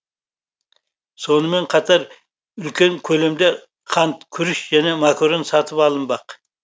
сонымен қатар үлкен көлемде қант күріш және макарон сатып алынбақ